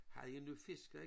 Havde jeg nu fisket